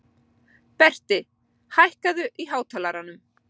Berti, hækkaðu í hátalaranum.